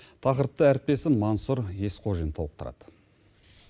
тақырыпты әріптесім мансур есқожин толықтырады